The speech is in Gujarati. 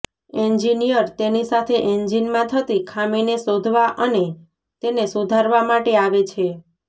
એન્જિનિયર તેની સાથે એન્જિનમાં થતી ખામીને શોધવા અને તેને સુધારવા માટે આવે છે